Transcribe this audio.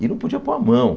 E não podia pôr a mão.